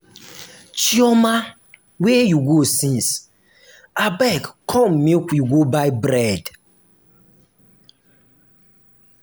chioma where you go since? abeg come make we go buy bread